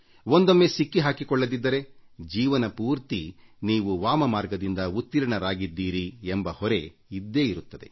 ಒಂದೊಮ್ಮೆ ಸಿಕ್ಕಿ ಹಾಕಿಕೊಳ್ಳದಿದ್ದರೆ ಜೀವನಪೂರ್ತಿ ನೀವು ವಾಮಮಾರ್ಗದಿಂದ ಉತ್ತೀರ್ಣರಾಗಿದ್ದೀರಿ ಎಂಬ ಹೊರೆ ನಿಮ್ಮ ಆತ್ಮಸಾಕ್ಷಿಗೆ ಇದ್ದೇ ಇರುತ್ತದೆ